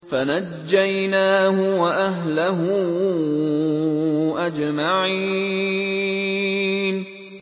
فَنَجَّيْنَاهُ وَأَهْلَهُ أَجْمَعِينَ